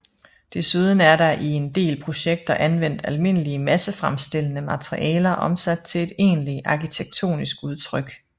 Desuden er der i en del projekter anvendt almindelige massefremstillede materialer omsat til et egentligt arkitektonisk udtryk